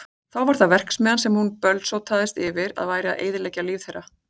Þá var það verksmiðjan sem hún bölsótaðist yfir að væri að eyðileggja líf þeirra.